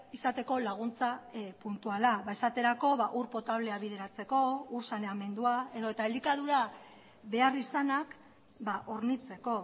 izateko laguntza puntuala esaterako ur potablea bideratzeko ur saneamendua edota elikadura beharrizanak hornitzeko